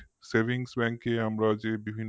savingsbank এ আমরা যে বিভিন্ন